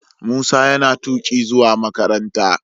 Musa yana tuki zuwa makaranta.